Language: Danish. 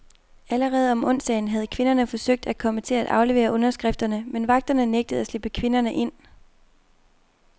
Allerede om onsdagen havde kvinderne forsøgt at komme til at aflevere underskrifterne, men vagterne nægtede at slippe kvinderne ind.